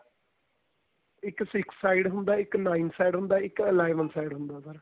ਇੱਕ six side ਹੁੰਦਾ ਇੱਕ nine side ਹੁੰਦਾ ਇੱਕ eleven side ਹੁੰਦਾ ਉਹਦਾ